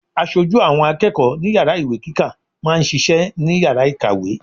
Aṣojú àwọn akẹ́kọ̀ọ́ ní Yàrá ìwé kíkà máa ń ṣiṣẹ́ ní Yàrá ìkàwé.